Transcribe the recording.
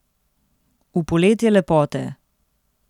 V poletje lepote.